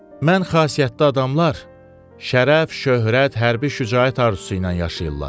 Mən xasiyyətli adamlar şərəf, şöhrət, hərbi şücaət arzusu ilə yaşayırlar.